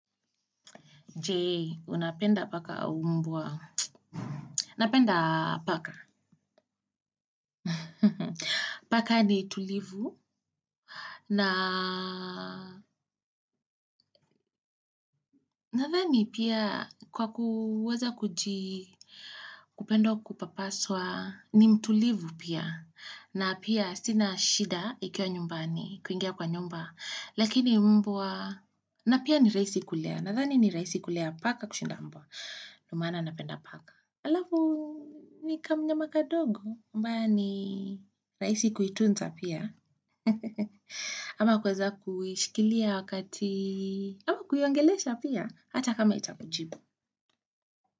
Jee, unapenda paka au mbwa. Napenda paka. Paka ni tulivu. Na nadhani pia kwa kuweza kuji kupenda kupapaswa ni mtulivu pia. Na pia sina shida ikiwa nyumbani, kuingia kwa nyumba. Lakini mbwa. Na pia ni rahisi kulea. Nadhani ni rahisi kulea paka kushinda mbwa. Ndo maana napenda paka. Alafu, ni kamnyama kadogo. Ambayo ni rahisi kuitunza pia ama kuweza kuishikilia wakati ama kuiongelesha pia hata kama haitakujibu.